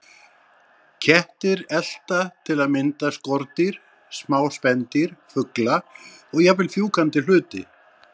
Kettir elta til að mynda skordýr, smá spendýr, fugla og jafnvel fjúkandi hluti.